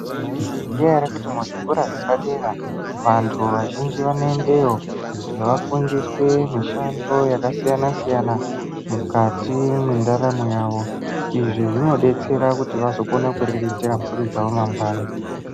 Maizviziya ere kuti zvikora zvepadera vanthu vazhinji vanoendeyo kuti vafundiswe mishando yakasiyana siyana mukati mwendaramo yavo izvi zvinodetsera kuti vazokone kuriritira mburi dzavo mangwani .